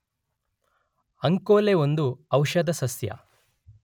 ಅಂಕೋಲೆ ಒಂದು ಔಷಧ ಸಸ್ಯ.